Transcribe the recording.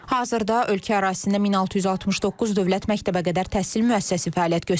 Hazırda ölkə ərazisində 1669 dövlət məktəbəqədər təhsil müəssisəsi fəaliyyət göstərir.